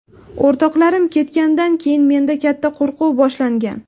O‘rtoqlarim ketganidan keyin menda katta qo‘rquv boshlangan.